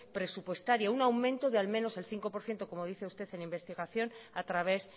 presupuestaria un aumento de al menos el cinco por ciento como dice usted en investigación a través